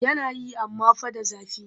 Yana yi amma fa da zafi